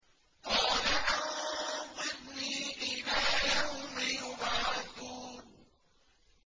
قَالَ أَنظِرْنِي إِلَىٰ يَوْمِ يُبْعَثُونَ